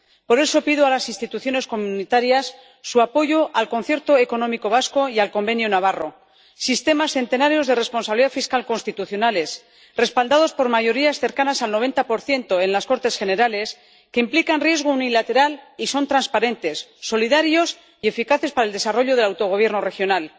Por eso, pido a las instituciones de la Unión su apoyo al Concierto Económico vasco y al Convenio Económico navarro, sistemas centenarios de responsabilidad fiscal constitucionales, respaldados por mayorías cercanas al 90 en las Cortes Generales, que implican riesgo unilateral y son transparentes, solidarios y eficaces para el desarrollo del autogobierno regional.